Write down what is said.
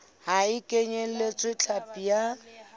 ha e kenyeletse hlapi ya